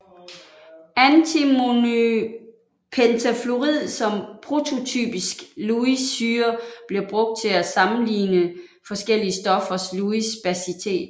Antimonypentafluorid som prototypisk Lewis syre bliver brugt til at sammeligner forskellige stoffers Lewis basitet